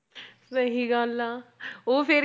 ਸਹੀ ਗੱਲ ਆ ਉਹ ਫਿਰ